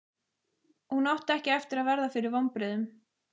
Hún átti ekki eftir að verða fyrir vonbrigðum.